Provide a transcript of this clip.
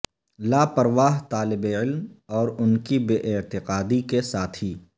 لاپرواہ طالب علم اور ان کی بے اعتقادی کے ساتھی